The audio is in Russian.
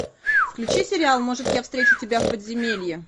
включи сериал может я встречу тебя в подземелье